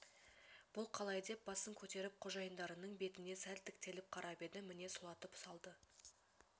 бұл қалай деп басын көтеріп қожайындарының бетіне сәл тіктеліп қарап еді міне сұлатып салды